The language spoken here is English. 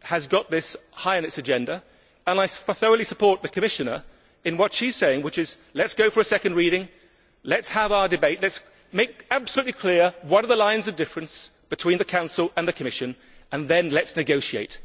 has this high on its agenda and I thoroughly support the Commissioner in what she is saying, which is let us go for a second reading, let us have our debate, let us make absolutely clear what are the lines of difference between the Council and the Commission, and then let us negotiate.